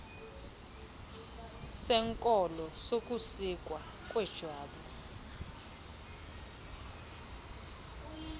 senkolo sokusikwa kwejwabu